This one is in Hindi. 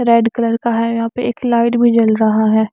रेड कलर का है और यहाँ पे एक लाइट भी जल रहा है।